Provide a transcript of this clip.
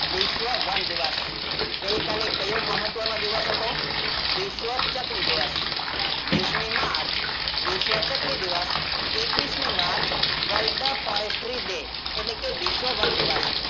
વિશ્વ વન દિવસ ગઈ કાલે કયો મહત્વનો દિવસ હતો? વિશ્વ ચકલી દિવસ વિશમી march વિશ્વ ચકલી દિવસ એકવીસમી marchworld forestry day એટલે કે વિશ્વવન દિવસ.